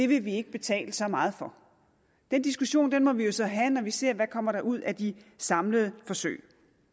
vi ikke betale så meget for den diskussion må vi jo så have når vi ser hvad der kommer ud af de samlede forsøg